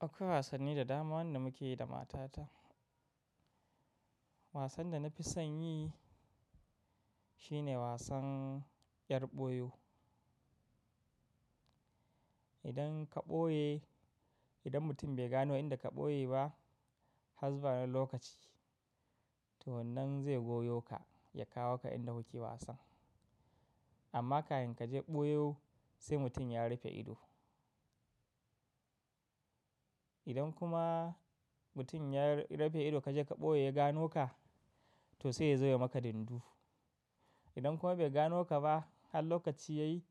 Akwai wasanni da dama wanda muke yi da matata. Wasan da na fi son yi shi ne wasan yar boyo. Idan ka ɓoye, idan mutum bai gano inda ka ɓoye ba har zuwa dan lokaci, to wannan zai goyo ka ya kawo ka inda kuke wasan. Amma kafin kaje ɓoyo sai mutum ya rufe ido. Idan kuma mutum ya rufe ido kaje ka ɓoye ya gano ka, to sai ya zo ya maka dindu. Idan kuma bai gano ka ba har lokaci ya yi,